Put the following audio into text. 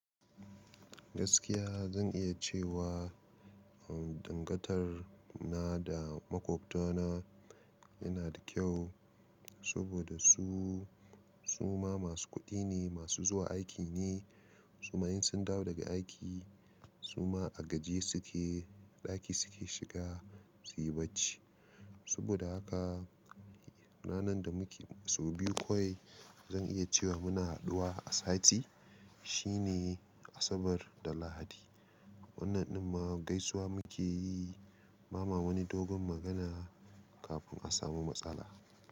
Gaskiya zan iya cewa, dangantar na da makwabtana yana da kyau, saboda su, su ma masu kuɗi ne, masu zuwa aiki ne. Su ma in sun dawo daga aiki, su ma a gajiye su ke, ɗaki su ke shiga su yi bacci. Saboda haka, ranan da muke sau biyu kawai, zan iya cewa muna haɗuwa a sati, shi ne Asabar da Lahadi. Wannan din ma gaisuwa mu ke yi, Bama wani dogon magana, kafin a samu matsala.